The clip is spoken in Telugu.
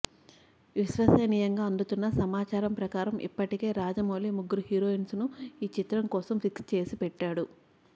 విశ్వసనీయంగా అందుతున్న సమాచారం ప్రకారం ఇప్పటికే రాజమౌళి ముగ్గురు హీరోయిన్స్ను ఈ చిత్రం కోసం ఫిక్స్ చేసి పెట్టాడు